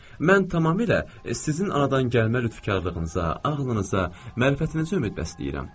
Mən tamamilə sizin anadan gəlmə lütfkarlığınıza, ağlınıza, mənfəətinizə ümid bəsləyirəm.